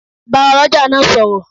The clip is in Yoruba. Bá oloja náà sọ̀rọ̀.